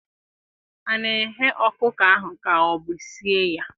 A na-eghe ọkụkọ ahụ ka ọ bụ sie ya?